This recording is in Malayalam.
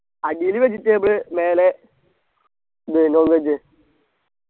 അടിയിൽ vegetable മേലെ ഇത് non veg